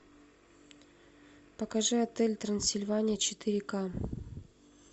покажи отель трансильвания четыре ка